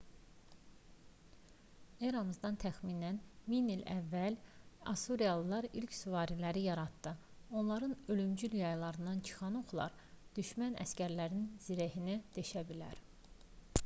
eramızdan təxminən 1000 ilə əvvəl assuriyalılar ilk süvariləri yaratdı onların ölümcül yaylarından çıxan oxlar düşmən əsgərlərinin zirehini deşə bilər